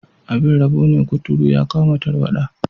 Abin rabo ne, kuturu ya kama tarwada.